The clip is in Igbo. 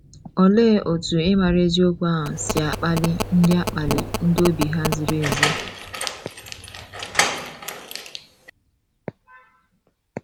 Olee otú ịmara eziokwu ahụ si akpali ndị akpali ndị obi ha ziri ezi?